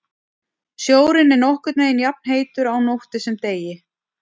Sjórinn er nokkurn veginn jafnheitur á nóttu sem degi.